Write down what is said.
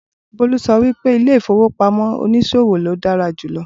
Bolu sọ wípé ilé ìfowópamọ́ oníṣòwò ni o dára jùlọ